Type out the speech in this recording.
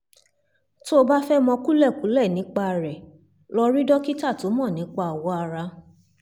tó o bá fẹ́ mọ kúlẹ̀kúlẹ̀ nípa rẹ̀ lọ rí dókítà tó mọ̀ nípa awọ ara